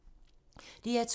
DR2